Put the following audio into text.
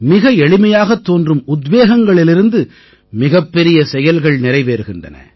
மிக எளிமையாகத் தோன்றும் உத்வேகங்களிலிருந்து மிகப்பெரிய செயல்கள் நிறைவேறுகின்றன